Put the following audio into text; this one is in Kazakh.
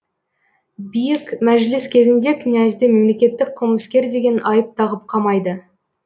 биік мәжіліс кезінде князьді мемлекеттік қылмыскер деген айып тағып қамайды